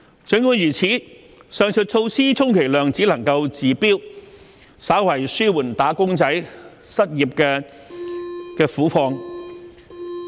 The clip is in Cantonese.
儘管如此，上述措施充其量只能治標，稍為紓緩"打工仔"失業之苦。